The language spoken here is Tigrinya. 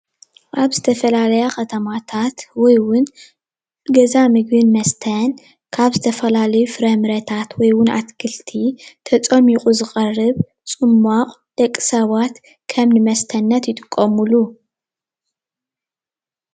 ኣብ ዝተፈላለያ ከተማታት ወይ እውን ገዛ ምግብን መስተን ካብ ዝተፈላለዩ ፍራምረታት ወይ እውን ኣትክልቲ ተፀሚቑ ዝቀርብ ፅሟቕ ደቂ ሰባት ከም ንመስተነት ይጥቀምሉ፡፡